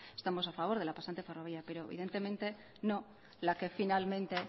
estamos a favor de la pasante ferroviaria pero evidentemente no la que finalmente